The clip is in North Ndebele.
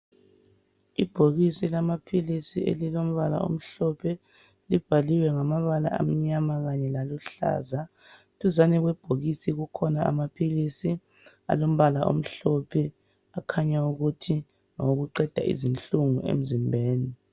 Ibhokisi lamaphilisi elilombala omhlophe libhaliwe ngamabala amnyama kanye laluhlaza duzane kwebhokisi kukhona amaphilisi alombala omhlphe okhaya ukuthi ngawokuqeda izinhlungu emzimbeni